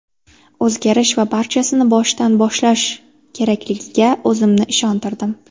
O‘zgarish va barchasini boshidan boshlash kerakligiga o‘zimni ishontirdim”.